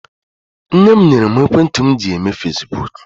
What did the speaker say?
Nne m nyere mụ ekwentị m ji eme fasibuuku.